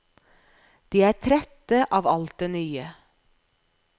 De er trette av alt det nye.